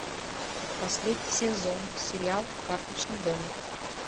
последний сезон сериал карточный домик